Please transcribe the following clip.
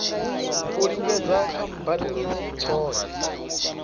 u lingedza kha mbadelo tshohe